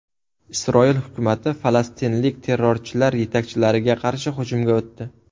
Isroil hukumati falastinlik terrorchilar yetakchilariga qarshi hujumga o‘tdi.